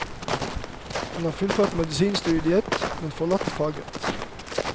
Han har fullført medisinstudiet, men forlatt faget.